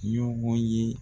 Ɲɔgɔn ye